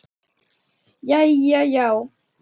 Jæja já?